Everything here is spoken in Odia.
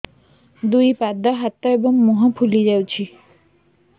ଦୁଇ ପାଦ ହାତ ଏବଂ ମୁହଁ ଫୁଲି ଯାଉଛି